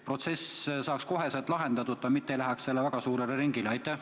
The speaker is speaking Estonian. Probleem saaks kohe lahendatud ega läheks väga suurele ringile.